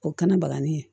O kɛnɛ balani